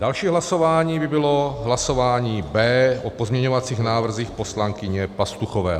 Další hlasování by bylo hlasování B o pozměňovacích návrzích poslankyně Pastuchové.